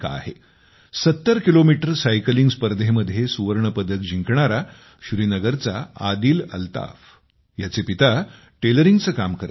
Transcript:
70 kilometre cycling स्पर्धेमध्ये सुवर्णपदक जिंकणारा श्रीनगरचा आदिल अल्ताफ याचे पिता टेलरिंगचे काम करतात